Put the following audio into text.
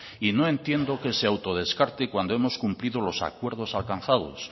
y no entiendo que se autodescarte cuando hemos cumplido los acuerdos alcanzados